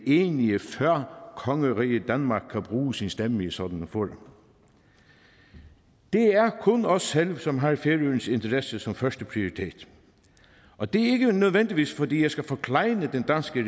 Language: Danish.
enige før kongeriget danmark kan bruge sin stemme i sådanne forhold det er kun os selv som har færøernes interesser som førsteprioritet og det er ikke nødvendigvis fordi jeg skal forklejne den danske